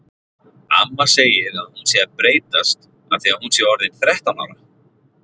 Amma segir að hún sé að breytast af því að hún sé orðin þrettán ára.